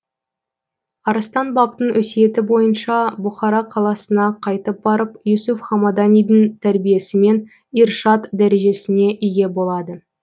арыстан бабтың өсиеті бойынша бұқара қаласына қайтып барып юсуф хамаданидің тәрбиесімен иршад дәрежесіне ие болады